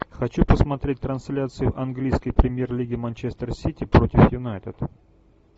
хочу посмотреть трансляцию английской премьер лиги манчестер сити против юнайтед